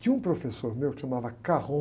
Tinha um professor meu que se chamava